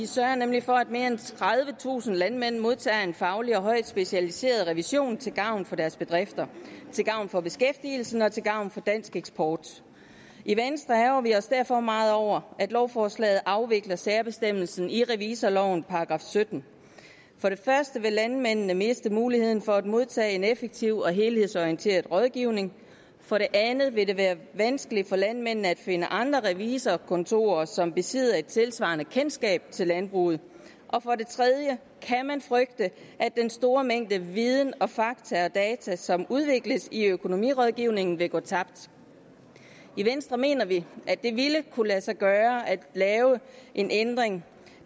sørger nemlig for at mere end tredivetusind landmænd modtager en faglig og højt specialiseret revision til gavn for deres bedrifter til gavn for beskæftigelsen og til gavn for dansk eksport i venstre ærgrer vi os derfor meget over at lovforslaget afvikler særbestemmelsen i revisorlovens § syttende for det første vil landmændene miste muligheden for at modtage en effektiv og helhedsorienteret rådgivning for det andet vil det være vanskeligt for landmændene at finde andre revisorkontorer som besidder et tilsvarende kendskab til landbruget og for det tredje kan man frygte at den store mængde viden og fakta og data som udvikles i økonomirådgivningen vil gå tabt i venstre mener vi at det ville kunne lade sig gøre at lave en ændring